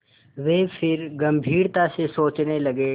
वे फिर गम्भीरता से सोचने लगे